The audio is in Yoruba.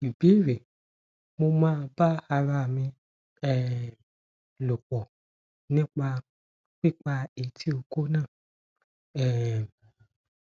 ìbéèrè mo máa ba ara mi um lopo nípa pipa eti oko naa um